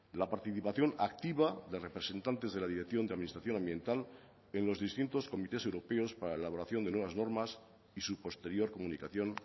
la participación activa de representantes de la dirección de administración ambiental en los distintos comités europeos para la elaboración de nuevas normas y su posterior comunicación